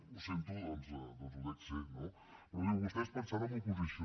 ho sento doncs ho dec ser no però diu vostès pensant en l’oposició